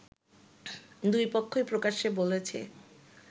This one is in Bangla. দুই পক্ষই প্রকাশ্যে বলেছে